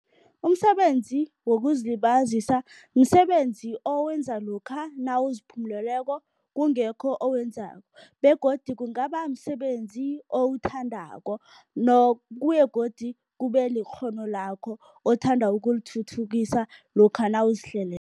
Umsebenzi wokuzilibazisa, msebenzi owenza lokha nawuziphumuleleko kungekho okwenzako begodu kungaba msebenzi owuthandako godu kube likghono lakho othanda ukulithuthukisa lokha